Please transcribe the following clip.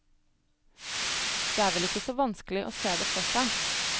Det er vel ikke så vanskelig å se det for seg.